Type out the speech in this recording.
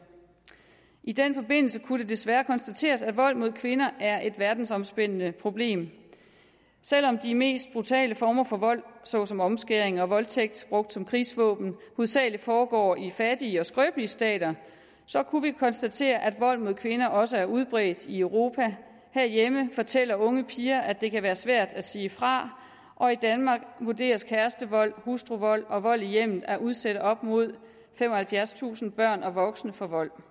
i den forbindelse kunne det desværre konstateres at vold mod kvinder er et verdensomspændende problem selv om de mest brutale former for vold såsom omskæring og voldtægt brugt som krigsvåben hovedsagelig foregår i fattige og skrøbelige stater kunne vi konstatere at vold mod kvinder også er udbredt i europa herhjemme fortæller unge piger at det kan være svært at sige fra og i danmark vurderes kærestevold hustruvold og vold i hjemmet at udsætte op mod femoghalvfjerdstusind børn og voksne for vold